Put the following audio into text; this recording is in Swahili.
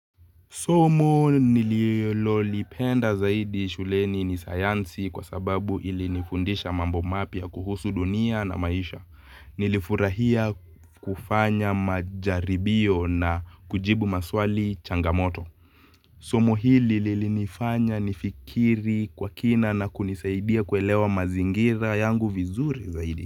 Somo nililolipenda zaidi shuleni ni sayansi kwa sababu ilinifundisha mambo mapya kuhusu dunia na maisha. Nilifurahia kufanya majaribio na kujibu maswali changamoto. Somo hili lilinifanya nifikiri kwa kina na kunisaidia kuelewa mazingira yangu vizuri zaidi.